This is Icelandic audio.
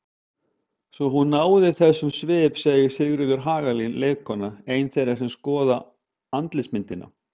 Svo hún náði þessum svip segir Sigríður Hagalín leikkona, ein þeirra sem skoða andlitsmyndina.